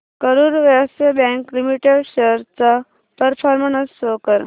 Karur Vysya bank limited shares चा performance show कर